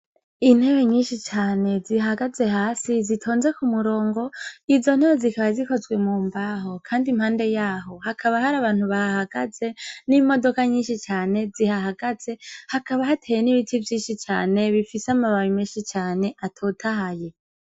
Inteb nyinshi cane zihagaze hasi zitonze kumurongo , izontebe zikaba zikozwe mumbaho Kandi impande yaho hakaba hari abantu bahagaze nimodoka nyinshi cane zihahagaze hakaba hateye nibiti vyinshi Cane bifise amababi menshi cane atotahaye.